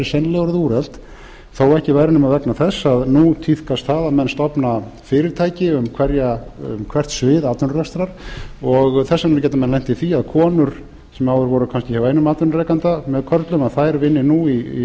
orðin úrelt þó ekki væri nema vegna þess að nú tíðkast það að menn stofna fyrirtæki um hvert svið atvinnurekstrar og þess vegna gætu menn lent í því að konur sem áður voru kannski hjá einum atvinnurekanda með körlum vinni nú í